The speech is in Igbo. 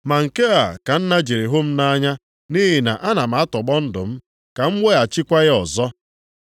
Maka nke a ka Nna jiri hụ m nʼanya, nʼihi na ana m atọgbọ ndụ m, ka m wereghachikwa ya ọzọ.